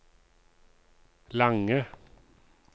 lange